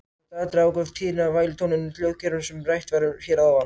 Þetta atriði ákveður tíðnina á vælutóninum í hljóðkerfinu sem rætt var um hér að ofan.